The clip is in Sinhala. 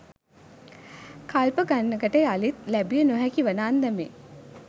කල්ප ගණනකට යළිත් ලැබිය නොහැකි වන අන්දමේ